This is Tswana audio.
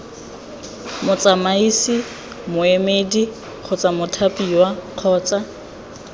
motsamaisi moemedi kgotsa mothapiwa kgotsa